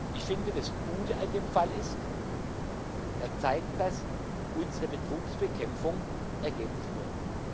Ich finde, das Gute an dem Fall ist Er zeigt, dass unsere Betrugsbekämpfung Ergebnisse bringt.